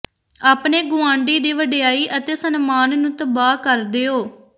ਆਪਣੇ ਗੁਆਂਢੀ ਦੀ ਵਡਿਆਈ ਅਤੇ ਸਨਮਾਨ ਨੂੰ ਤਬਾਹ ਕਰ ਦਿਓ